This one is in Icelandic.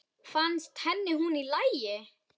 Fannst henni hún í lagi?